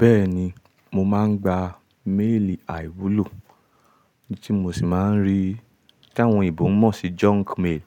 Bẹ́ẹ̀ni, mo máa ń gba méèlì àìwúlò tí mo sì máa ń rí, tí àwọn ìbọn mọ̀ sí junk mail